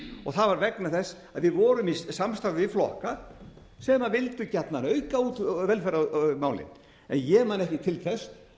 og það var vegna þess að við vorum í samstarfi við flokka sem vildu gjarnan auka á velferðarmálin en ég man ekki til þess